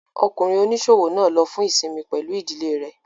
Ọkùnrin oníṣòwò náà lọ fún ìsinmi pẹ̀lú ìdílé rẹ̀